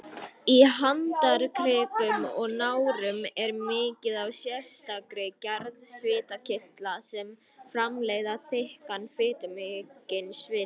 Í handarkrikum og nárum er mikið af sérstakri gerð svitakirtla sem framleiða þykkan, fitumikinn svita.